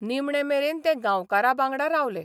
निमणे मेरेन ते गांवकारां बांगडा रावले...